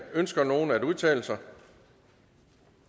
ønsker nogen at udtale sig